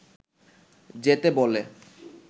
যেতে বলে